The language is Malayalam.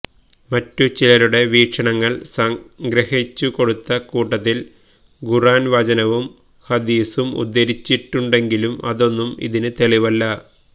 മറ്റു ചിലരുടെ വീക്ഷണങ്ങള് സംഗ്രഹിച്ചുകൊടുത്ത കൂട്ടത്തില് ഖുര്ആന് വചനവും ഹദീസും ഉദ്ധരിച്ചിട്ടുണ്ടെങ്കിലും അതൊന്നും ഇതിന് തെളിവല്ല